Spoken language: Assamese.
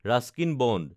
Ruskin bond